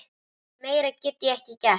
Meira get ég ekki gert.